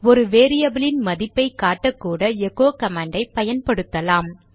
ஒரு வேரியபிலின் மதிப்பை காட்டக்கூட எகோ கமாண்டை பயன்படுத்தலாம்